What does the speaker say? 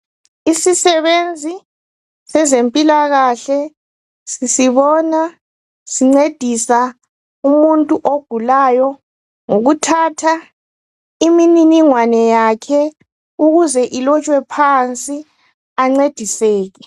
Isisebenzi sezempilakahle sisibona sincedisa umuntu ogulayo ngokuthatha imininingwane yakhe ukuze ilotshwe phansi ancediseke.